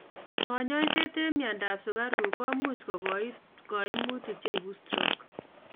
Konyoiset ab myondo ab sukaruk komuch kogoit complications cheibu stroke